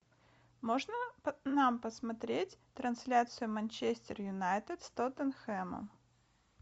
можно нам посмотреть трансляцию манчестер юнайтед с тоттенхэмом